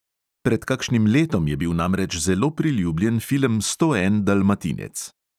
Pred kakšnim letom je bil namreč zelo priljubljen film sto en dalmatinec.